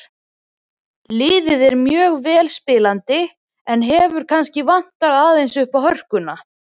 Liðið er mjög vel spilandi en hefur kannski vantað aðeins uppá hörkuna.